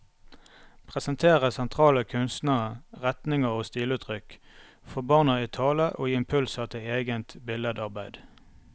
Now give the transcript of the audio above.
Presentere sentrale kunstnere, retninger og stiluttrykk, få barna i tale og gi impulser til eget billedarbeid.